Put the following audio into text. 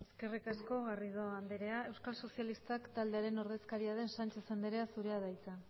eskerrik asko garrido andrea euskal sozialistak taldearen ordezkaria den sánchez anderea zurea da hitza